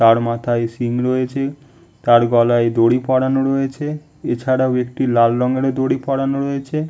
তার মাথায় সিং রয়েছে তার গলায় দড়ি পোড়ানো রয়েছে এছাড়াও একটি লাল রঙের দড়ি পোড়ানো রয়েছে।